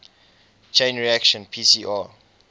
chain reaction pcr